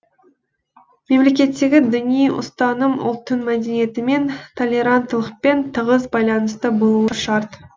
мемлекеттегі діни ұстаным ұлттың мәдениетімен толеранттылықпен тығыз байланысты болуы шарт